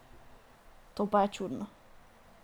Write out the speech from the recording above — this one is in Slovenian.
To je pa čudno.